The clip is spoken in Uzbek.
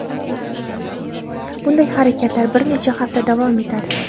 Bunday harakatlar bir necha hafta davom etadi.